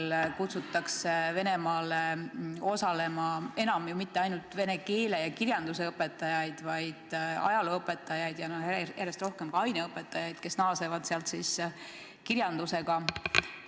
Aina enam kutsutakse Venemaale osalema ju mitte ainult vene keele ja kirjanduse õpetajaid, vaid ajalooõpetajaid, samuti järjest rohkem aineõpetajaid, kes siis naasevad sealt antud kirjandusega.